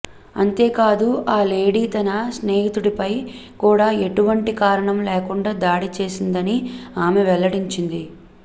అంతేకాదు ఆ లేడీ తన స్నేహితుడిపై కూడా ఎటువంటి కారణం లేకుండా దాడి చేసిందని ఆమె వెల్లడించింది